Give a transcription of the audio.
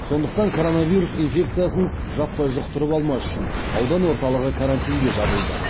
сондықтан коронавирус инфекциясын жаппай жұқтырып алмас үшін аудан орталығы карантинге жабылды